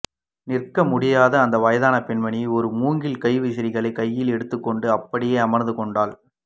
நிற்கமுடியாத அந்த வயதான பெண்மனி ஒரு மூங்கில் கைவிசிறியைக் கையில் எடுத்துக் கொண்டு அப்படியே அமர்ந்து கொண்டாள்